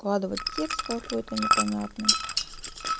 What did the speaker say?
складывать текст какой-то непонятный